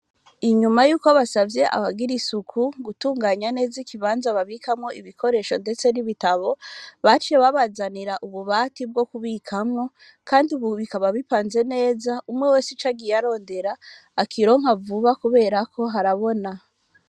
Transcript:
Inyuma y'uko basavye abagira isuku, gutunganya neza ikibanza babikamwo ibikoresho ndetse n'ibitabo, baciye babazanira ububati bwo kubikamwo, kandi ubu bikaba bipanze neza, umwe wese ico agiye arondera, akironka vuba kubera ko harabona.